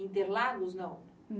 Interlagos, não?